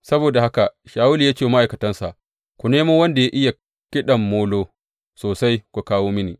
Saboda haka Shawulu ya ce wa ma’aikatansa, Ku nemo wanda ya iya kiɗan molo sosai ku kawo mini.